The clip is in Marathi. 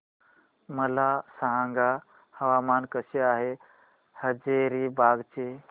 मला सांगा हवामान कसे आहे हजारीबाग चे